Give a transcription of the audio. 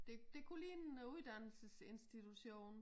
Det det kunne ligne noget uddannelsesinstitution